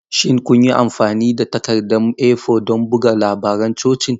Shin kun yi amfani da takaddun A4 don buga labaran cocin?